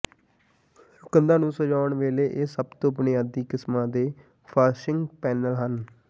ਕੰਧਾਂ ਨੂੰ ਸਜਾਉਣ ਵੇਲੇ ਇਹ ਸਭ ਤੋਂ ਬੁਨਿਆਦੀ ਕਿਸਮਾਂ ਦੇ ਫਾਸਿੰਗ ਪੈਨਲ ਹਨ